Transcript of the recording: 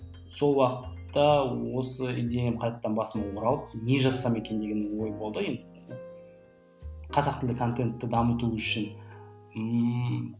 сол уақытта осы идеям қайтадан басыма оралып не жазсам екен деген ой болды енді қазақ тілді контентті дамыту үшін ммм